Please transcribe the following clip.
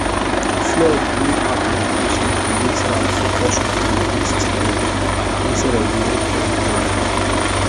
flood wey happen recently make sarah focus on emergency spend instead of long-term plan.